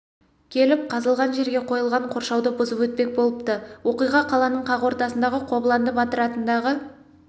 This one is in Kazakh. келіп қазылған жерге қойылған қоршауды бұзып өтпек болыпты оқиға қаланың қақ ортасындағы қобыланды батыр атындағы